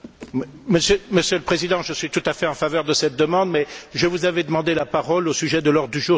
Monsieur le Président, je suis tout à fait en faveur de cette demande, mais je vous avais demandé la parole au sujet de l'ordre du jour de mardi.